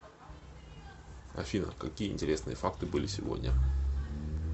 афина какие интересные факты были сегодня